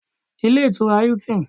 Ilé Ìtura Hilton